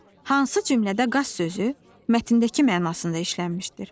Hansı cümlədə qaz sözü mətndəki mənasında işlənmişdir?